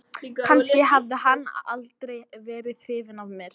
Kannski hafði hann aldrei verið hrifinn af mér.